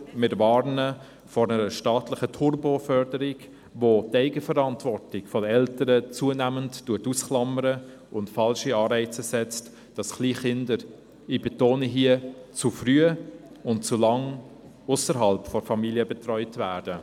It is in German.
Wir warnen jedoch vor einer staatlichen TurboFörderung, welche die Eigenverantwortung der Eltern zunehmend ausklammert und falsche Anreize setzt, sodass Kleinkinder – ich betone dies hier – und ausserhalb der Familie betreut werden.